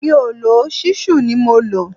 Mi ò lò ó, ṣísù ni mo lò